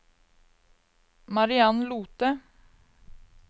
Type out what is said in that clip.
Mariann Lothe